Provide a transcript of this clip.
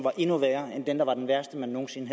er endnu værre end den man troede var den værste man nogensinde